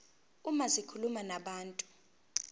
uma zikhuluma nabantu